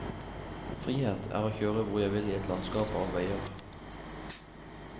Frihet er å kjøre hvor jeg vil i et landskap av veier.